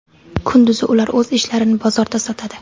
Kunduzi ular o‘z ishlarini bozorda sotadi.